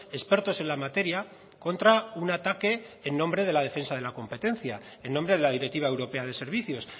expertos en la materia contra un ataque en nombre de la defensa de la competencia en nombre de la directiva europea de servicios